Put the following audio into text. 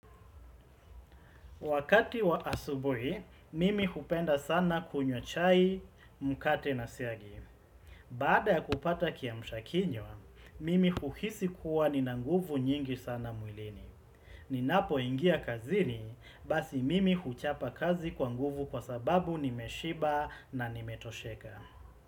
Wakati wa asubuhi, mimi hupenda sana kunywa chai, mkate na siagi. Baada ya kupata kiamsha kinywa, mimi huhisi kuwa nina nguvu nyingi sana mwilini. Ninapoingia kazini basi mimi huchapa kazi kwa nguvu kwa sababu nimeshiba na nimetosheka.